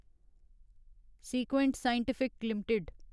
sequent Scientific limited